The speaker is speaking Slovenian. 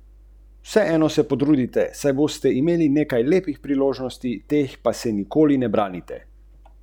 Na naše posestvo, ki ima štiri zvezdice, gostje pridejo po luknjah.